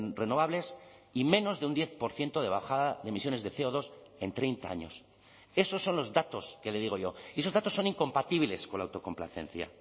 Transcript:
renovables y menos de un diez por ciento de bajada de emisiones de ce o dos en treinta años esos son los datos que le digo yo y esos datos son incompatibles con la autocomplacencia